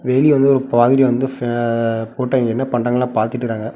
வெளிய வந்து ஒரு பாதிரி வந்து ஃபே போட்டு அவிங்க என்ன பண்றாங்கனு பாத்திட்டுருக்காங்க.